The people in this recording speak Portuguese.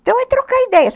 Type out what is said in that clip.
Então é trocar ideias.